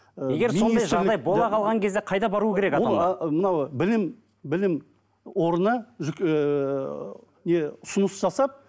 егер сондай жағдай бола қалған кезде қайда бару керек мынау білім білім орны ыыы не ұсыныс жасап